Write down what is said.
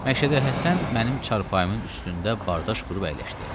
Məşədə Həsən mənim çarpayımın üstündə bardaş qurub əyləşdi.